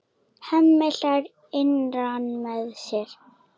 Hemmi hlær innra með sér.